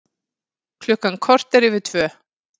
Klukkan korter yfir tvö